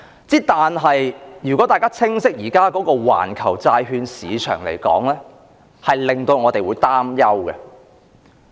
然而，如果大家了解現時的環球債券市場，便會感到擔憂。